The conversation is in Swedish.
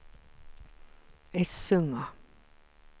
Essunga